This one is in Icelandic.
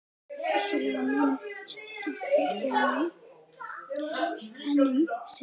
Vissulega munum við samt fylgja henni enn um sinn.